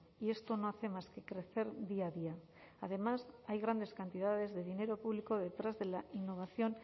y esto no hace más que crecer día a día además hay grandes cantidades de dinero público detrás de la innovación